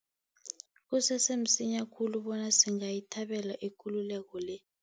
Kusese msinya khulu bona singayithabela ikululeko le.